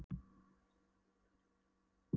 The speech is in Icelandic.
Hann er víst mjög háttsettur í birgðahaldinu.